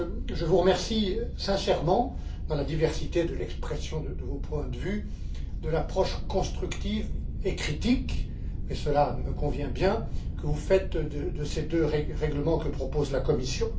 Je vous remercie sincèrement, dans la diversité de l'expression de vos points de vue, de l'approche constructive et critique et cela me convient bien que vous avez adoptée par rapport à ces deux règlements que propose la Commission.